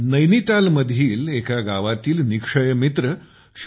नैनितालमधील एका गावातील निक्षय मित्र श्री